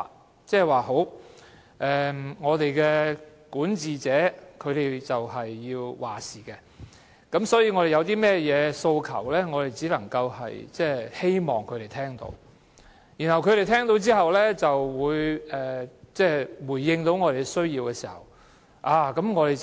公眾也認為管治者是要作主的，因此我們有甚麼訴求，只能希望管治者聽取，然後回應，當他們回應我們的需要時，我們便